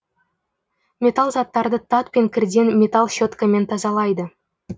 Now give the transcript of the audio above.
металл заттарды тат пен кірден металл щеткамен тазалайды